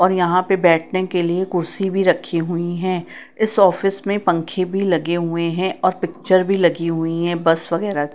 और यहां पे बैठने के लिए कुर्सी भी रखी हुईं हैं इस ऑफिस में पंखे भी लगे हुएं हैं और पिक्चर भी लगी हुईं है बस वगैराह--